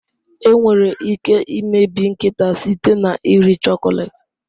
Enwere ike imebi nkịta site na iri chocolate.